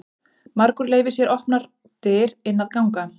Margur leyfir sér opnar dyr inn að ganga.